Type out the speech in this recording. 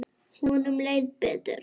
Honum leið betur.